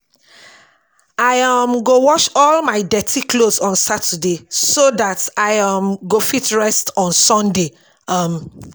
I um go wash all my dirty clothes on saturday so dat I um go fit rest on sunday um